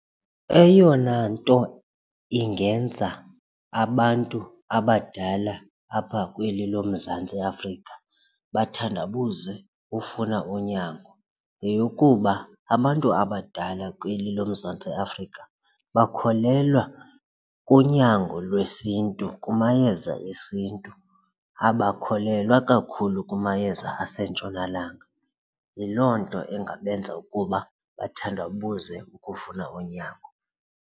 Eyona nto ingenza abantu abadala apha kweli loMzantsi Afrika bathandabuze ukufuna unyango yeyokuba abantu abadala kweli loMzantsi Afrika bakholelwa kunyango lwesiNtu, kumayeza esiNtu abakholelwa kakhulu kumayeza asentshonalanga. Yiloo nto ingabenza ukuba bathandabuze ukufuna unyango.